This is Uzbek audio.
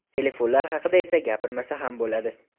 Telefonlar haqida esa gapirmasa ham bo‘ladi.